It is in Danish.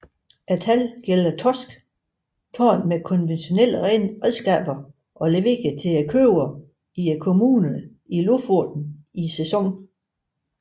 Tallene gælder torsk taget med konventionelle redskaber og leveret til købere i kommunene i Lofoten i sæsonen